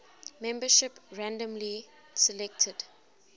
membership randomly selected